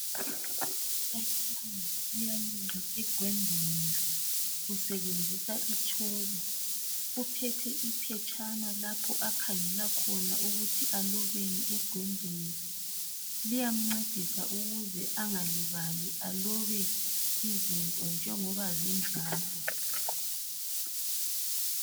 Umbalisi uyaloba ebhodini usebenzisa itshoko. Uphethe iphetshana lapho akhangela khona ukuthi alobeni ebhodini, liyamncedisa ukuze engalibali alobe izinto njengoba zinjalo